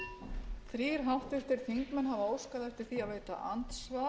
í efnahagslægð við getum byggt upp mjög hratt